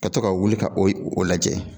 Ka to ka wuli ka o ye o lajɛ